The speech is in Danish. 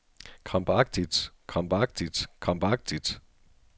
krampagtigt krampagtigt krampagtigt